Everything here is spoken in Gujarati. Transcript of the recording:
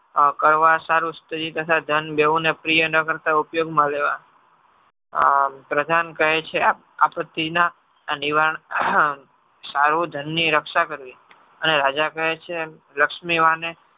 કરવા સારું સ્ત્રી તથા ધન બેવને પ્રિય ન કરતા ઉપયોગમાં લેવા પ્રધાન કહે છે આપત્તિના નિવારણ આહ સારું ધનની રક્ષા કરવી અને રાજા કહે છે લક્ષ્મીવાને